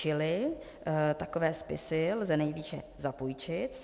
Čili takové spisy lze nejvýše zapůjčit.